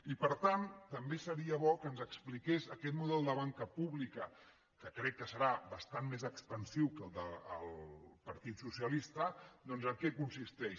i per tant també seria bo que ens expliqués aquest model de banca pública que crec que serà bastant més expansiu que el del partit socialista doncs en què consisteix